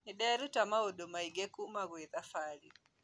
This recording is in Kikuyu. Nĩndĩrũta maũndu maingĩ kũma kwĩ thabarĩ